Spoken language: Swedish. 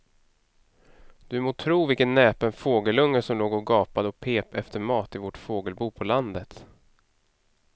Du må tro vilken näpen fågelunge som låg och gapade och pep efter mat i vårt fågelbo på landet.